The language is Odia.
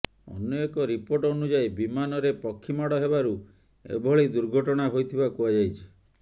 ଅନ୍ୟ ଏକ ରିପୋର୍ଟ ଅନୁଯାୟୀ ବିମାନରେ ପକ୍ଷୀ ମାଡ଼ ହେବାରୁ ଏଭଳି ଦୁର୍ଘଟଣା ହୋଇଥିବା କୁହାଯାଇଛି